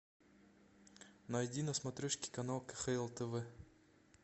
найди на смотрешке канал кхл тв